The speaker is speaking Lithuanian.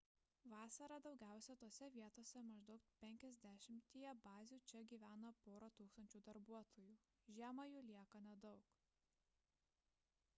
vasarą daugiausia tose vietose maždaug penkiasdešimtyje bazių čia gyvena pora tūkstančių darbuotojų žiemą jų lieka nedaug